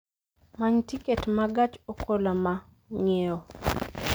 Many tiket ma gach okoloma ng�iewo